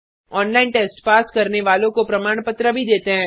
online test pass करने वालों को प्रमाण पत्र भी देते हैं